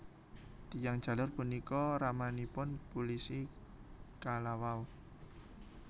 Tiyang jaler punika ramanipun pulisi kalawau